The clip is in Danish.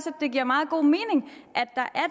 at det giver meget god mening